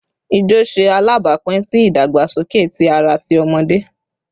Ijo ṣe alabapin si idagbasoke ti ara ti awọn ọmọde